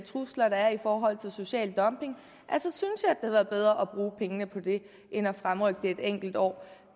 trusler der er i forhold til social dumping havde været bedre at bruge pengene på end at fremrykke det et enkelt år